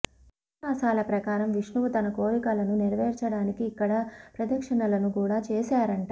ఇతిహాసాల ప్రకారం విష్ణువు తన కోరికలను నెరవేర్చడానికి ఇక్కడ ప్రదక్షిణలను కూడా చేసాడంట